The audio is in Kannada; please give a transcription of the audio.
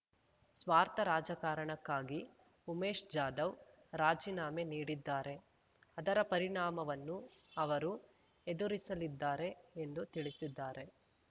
ಸ್ವಾರ್ಥ ರಾಜಕಾರಣಕ್ಕಾಗಿ ಉಮೇಶ್ ಜಾಧವ್ ರಾಜೀನಾಮೆ ನೀಡಿದ್ದಾರೆ ಅದರ ಪರಿಣಾಮವನ್ನು ಅವರು ಎದುರಿಸಲಿದ್ದಾರೆ ಎಂದು ತಿಳಿಸಿದ್ದಾರೆ